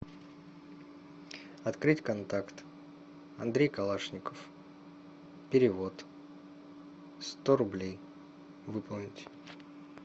открыть контакт андрей калашников перевод сто рублей выполнить